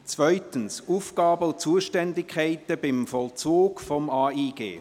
2 Aufgaben und Zuständigkeiten beim Vollzug des AIG